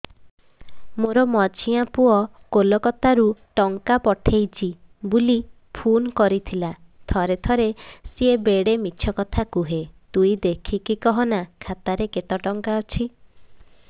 ମୋର ମଝିଆ ପୁଅ କୋଲକତା ରୁ ଟଙ୍କା ପଠେଇଚି ବୁଲି ଫୁନ କରିଥିଲା ଥରେ ଥରେ ସିଏ ବେଡେ ମିଛ କଥା କୁହେ ତୁଇ ଦେଖିକି କହନା ଖାତାରେ କେତ ଟଙ୍କା ଅଛି